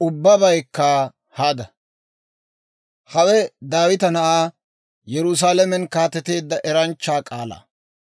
Hawe, Daawita na'aa, Yerusaalamen kaateteedda eranchchaa k'aalaa.